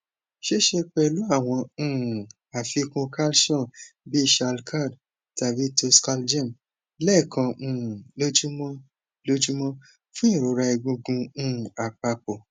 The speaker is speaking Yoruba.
sise pelu awon um afikun calcium bi shalcald tabi toscalgem lekan um lojumo lojumo fun irora egungun um apapo